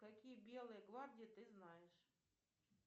какие белые гвардии ты знаешь